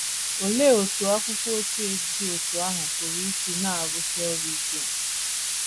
Olee otú akwụkwọ ochie dị otú ahụ pụrụ isi na - arụsi ọrụ ike?